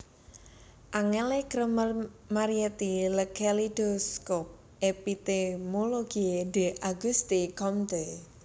Angèle Kremer Marietti Le kaléidoscope épistémologique d Auguste Comte